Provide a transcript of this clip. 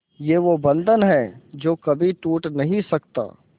ये वो बंधन है जो कभी टूट नही सकता